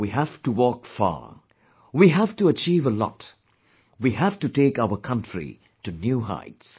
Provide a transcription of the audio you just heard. We have to walk far, we have to achieve a lot, we have to take our country to new heights